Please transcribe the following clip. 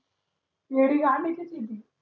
,